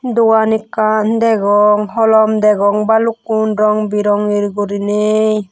dogan ekkan degong holom degong bhalukkun rong birongi guriney.